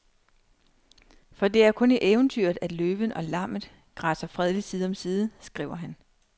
For det er kun i eventyret, at løven og lammet græsser fredeligt side om side, skriver han.